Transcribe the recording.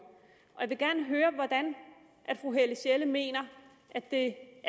jeg vil gerne høre hvordan fru helle sjelle mener at det